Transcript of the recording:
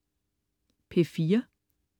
P4: